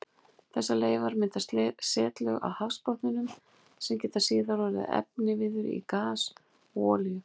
Þessar leifar mynda setlög á hafsbotninum sem geta síðar orðið efniviður í gas og olíu.